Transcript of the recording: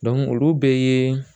olu bɛɛɛɛ